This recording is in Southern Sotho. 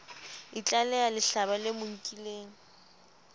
itlaleha lehlaba le mo nkileng